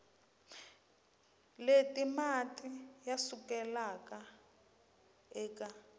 leti mati ya sukelaka eka